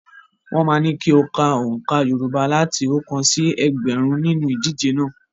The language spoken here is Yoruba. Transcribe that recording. Wọ́n máa ní kí o kọ oǹkà Yorùbá láti oókan sí ẹgbẹ̀rún nínú ìdíje náà.